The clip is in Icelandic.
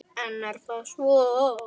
En er það svo.